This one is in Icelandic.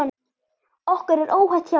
Okkur er óhætt hjá þér.